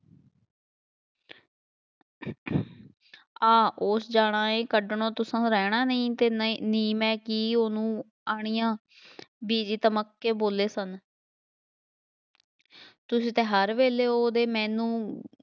ਆ ਉਸ ਜਾਣਾ ਹੈ, ਕੱਢਣੋਂ ਤੁਸੋਂ ਰਹਿਣਾ ਨਹੀਂ ਅਤੇ ਨਹੀਂ ਨੀ ਮੈਂ ਕੀ ਕੀ ਉਹਨੂੰ ਆਣੀਆਂ, ਬੀਜੀ ਧਮਕ ਕੇ ਬੋਲੇ ਸਨ ਤੁਸੀਂ ਤਾਂ ਹਰ ਵੇਲੇ ਉਹਦੇ ਮੈਨੂੰ